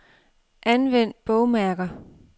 Anvend bogmærker.